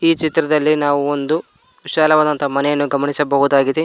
ಚಿತ್ರದಲ್ಲಿ ನಾವು ಒಂದು ವಿಶಾಲವಾದಂತ ಮನೆಯನ್ನು ಗಮನಿಸಬಹುದಾಗಿದೆ.